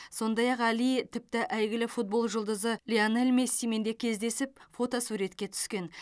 сондай ақ әли тіпті әйгілі футбол жұлдызы лионель мессимен де кездесіп фотосуретке түскен